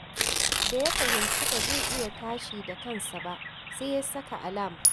Da ya fahimci ba zai iya tashi da kansa ba, sai ya saka alam